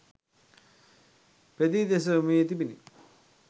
පෙඳී දෙස යොමු වී තිබුණි